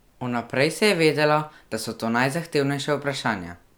Vnaprej se je vedelo, da so to najzahtevnejša vprašanja.